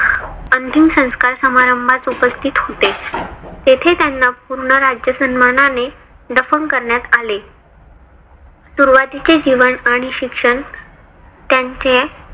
अंतिम संस्कार समारंभात उपस्थित होते. तेथे त्यांना पूर्ण राज्य सन्मानाने दफन करण्यात आले. सुरुवातीचे जीवन आणि शिक्षण त्यांचे